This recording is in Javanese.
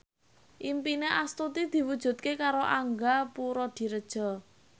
impine Astuti diwujudke karo Angga Puradiredja